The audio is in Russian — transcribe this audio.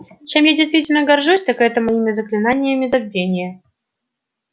чем я действительно горжусь так это моими заклинаниями забвения